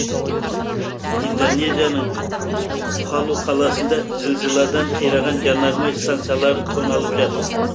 индонезияның палу қаласында зілзаладан қираған жанармай станциялары тоналып жатыр